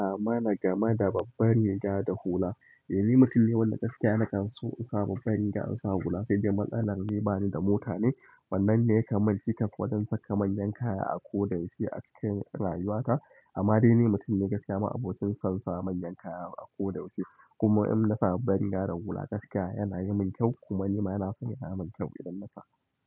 Aama na gama da babbar ninga da hula. Ni mutum ne wanda gaskiya na kan so in sa babban riga insa hula, sai dai matsalar ni bani da mota ne, wannan ne ya kamal jiƙa wajen saka manyan kaya a ko da yaushe a cikin rayuwata. Amma dai ni mutum ne gaskiya ma abocin son sa manyan kaya a ko da yaushe. Kuma in nasa babbar riga da hula gaskiya yana yi min kyau kuma ni ma na son yana min kyau idan na sa.